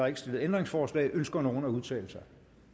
ikke stillet ændringsforslag ønsker nogen at udtale sig